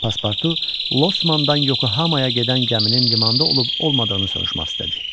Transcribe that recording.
Pasportu Losmandan Yokohamaya gedən gəminin limanda olub-olmadığını soruşmaq istədi.